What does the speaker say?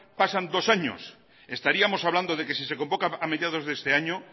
pasan dos años estaríamos hablando de que si se convoca a mediados de este año